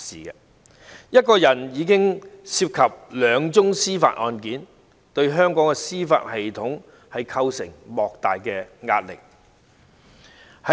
單是一個人便已涉及兩宗司法案件，對香港的司法系統構成莫大的壓力。